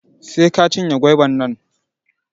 Sai ka cinye goiba nan